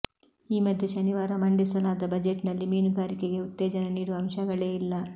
ಈ ಮಧ್ಯೆ ಶನಿವಾರ ಮಂಡಿಸ ಲಾದ ಬಜೆಟ್ನಲ್ಲಿ ಮೀನುಗಾರಿಕೆಗೆ ಉತ್ತೇಜನ ನೀಡುವ ಅಂಶಗಳೇ ಇಲ್ಲ